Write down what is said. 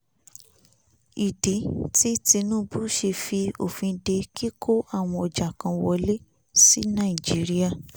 ìdí tí tinubu ṣe fi òfin de kíkó àwọn ọjà kan wọlé sí nàìjíríà